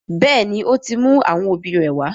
béèni, ó ti mú àwọn òbí rẹ̀ wá.